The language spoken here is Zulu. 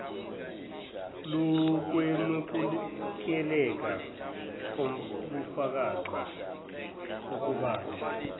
lokwemukeleka kobufakazi kukabili